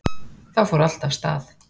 Þá fór allt af stað